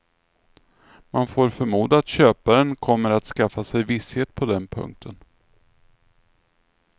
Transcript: Man får förmoda att köparen kommer att skaffa sig visshet på den punkten.